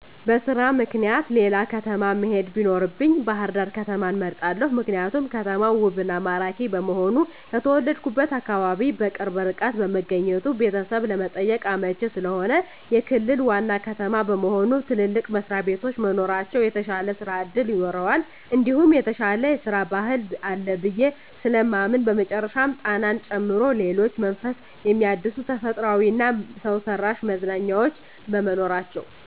በስራ ምክኒያት ሌላ ከተማ መሄድ ቢኖርብኝ ባህርዳር ከተማን እመርጣለሁ። ምክንያቱም ከተማው ውብ እና ማራኪ በመሆኑ፣ ከተወለድሁበት አካባቢ በቅርብ ርቀት በመገኘቱ ቤተሰብ ለመጠየቅ አመቺ ስለሆነ፣ የክልል ዋና ከተማ በመሆኑ ትልልቅ መስሪያቤቶች መኖራቸው የተሻለ ስራ እድል ይኖረዋል እንዲሁም የተሻለ የስራ ባህል አለ ብየ ስለማምን በመጨረሻም ጣናን ጨምሮ ሌሎች መንፈስ ሚያድሱ ተፈጥሯዊ እና ሰውሰራሽ መዝናኛዎች በመኖራቸው።